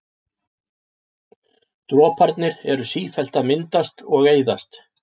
Droparnir eru sífellt að myndast og eyðast.